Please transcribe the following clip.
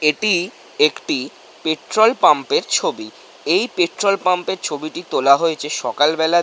এটি একটি পেট্রল পাম্পের ছবি। এই পেট্রল পাম্পের ছবিটি তোলা হয়েছে সকাল বেলার--